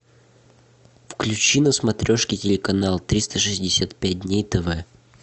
включи на смотрешке телеканал триста шестьдесят пять дней тв